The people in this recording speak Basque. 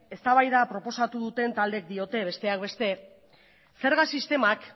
eztabaida proposatu duten taldeek diote besteak beste zerga sistemak